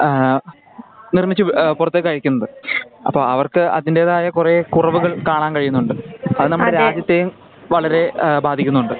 ആ നിർമിച്ചു പുറത്തേക്കു അയക്കുന്നത്. അപ്പൊ അവർക്ക് അതിന്റെതായ കുറെ കുറവുകൾ കാണാൻ കഴിയുന്നുണ്ട്. അത് നമ്മുടെ രാജ്യത്തെയും വളരെ ബാധിക്കുന്നുണ്ട്.